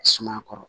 Suma kɔrɔ